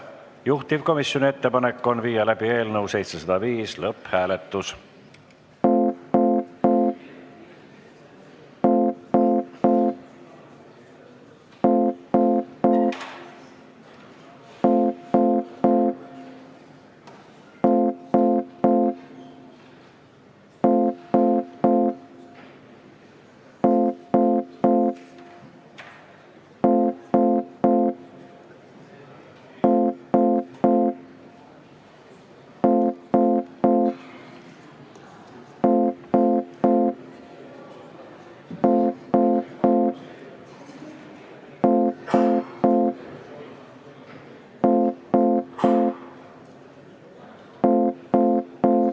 Juhtivkomisjoni ettepanek on viia läbi eelnõu 705 lõpphääletus.